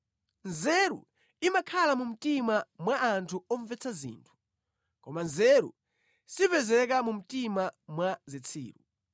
Nzeru zimakhala mu mtima mwa anthu omvetsa zinthu, koma nzeru sipezeka mu mtima mwa zitsiru.